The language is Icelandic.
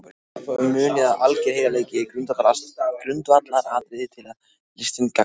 Munið að alger heiðarleiki er grundvallaratriði til að listinn gagnist.